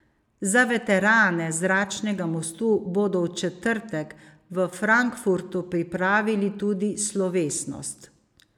Za veterane zračnega mostu bodo v četrtek v Frankfurtu pripravili tudi slovesnost.